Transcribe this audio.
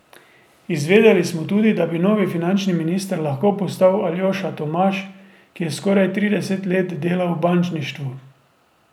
Izvedeli smo tudi, da bi novi finančni minister lahko postal Aljoša Tomaž, ki je skoraj trideset let delal v bančništvu.